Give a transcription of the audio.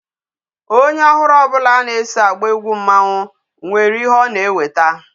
Onye ọhụrụ ọbụla na-eso agba egwu mmanwụ nwere ihe ọ na-eweta.